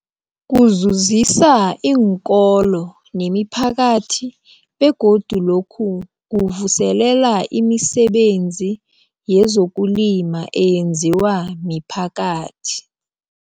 Kuzuzisa iinkolo nemiphakathi begodu lokhu kuvuselela imisebenzi yezokulima eyenziwa miphakathi.